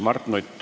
Mart Nutt.